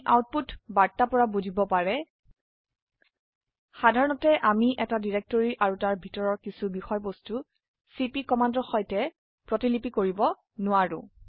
আপোনি আউটপুট বাৰ্তা পৰা বুজিব পাৰে সাধাৰণতে আমি এটা ডিৰেক্টৰিৰ আৰু তাৰ ভিতৰৰ কিছো বিষয়বস্তু চিপি কমান্ডৰ সৈতে প্ৰতিলিপি কৰিব নোৱাৰে